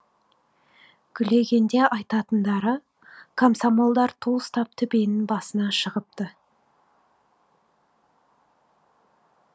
гүлегенде айтатындары комсомолдар ту ұстап төбенің басына шығыпты